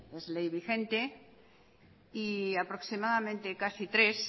es ley vigente y aproximadamente casi tres